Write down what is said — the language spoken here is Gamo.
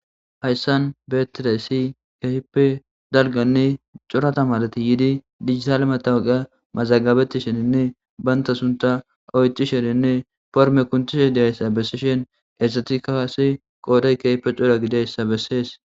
Haysan betidaysi keehippe daronne cora tamareti yidi dijitale matawoqiya mazagabetishininne banta suntha oychishin forme kunthishe dizaysa besishin hesatika qase qooday keehippe cora gidiyaysa besses.